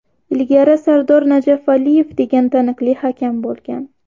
Ilgari Sardor Najafaliyev degan taniqli hakam bo‘lgan.